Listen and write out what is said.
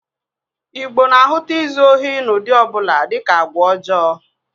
Igbo na-ahụta izu ohi n'ụdị ọ bụla dịka agwa ọjọọ